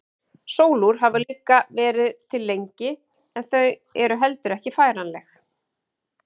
Sólúr hafa líka verið til lengi en þau eru heldur ekki færanleg.